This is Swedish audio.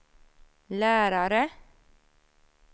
lärare